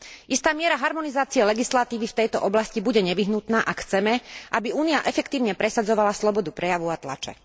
Istá miera harmonizácie legislatívy v tejto oblasti bude nevyhnutná, ak chceme, aby Únia efektívne presadzovala slobodu prejavu a tlače.